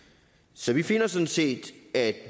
så vi finder sådan set at